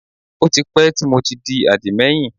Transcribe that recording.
Ó ti pẹ́ tí mo ti di àdìmẹ́yìn